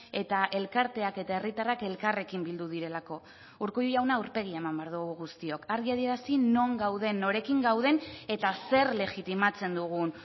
eta elkarteak eta herritarrak elkarrekin bildu direlako urkullu jauna aurpegia eman behar dugu guztiok argi adierazi non gauden norekin gauden eta zer legitimatzen dugun